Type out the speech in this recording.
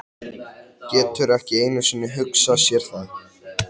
Getur ekki einu sinni hugsað sér það.